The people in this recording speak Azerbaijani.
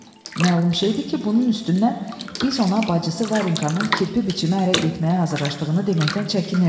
Məlum şeydir ki, bunun üstündən biz ona bacısı Varenkanın kirpi biçimə ərə getməyə hazırlaşdığını deməkdən çəkinirdik.